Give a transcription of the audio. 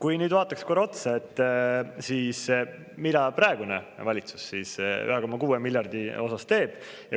Aga nüüd vaataks korra, mida praegune valitsus selle 1,6 miljardi osas teeb.